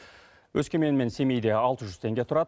өскемен мен семейде алты жүз теңге тұрады